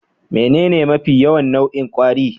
Menene mafi yawan nau'in kwari?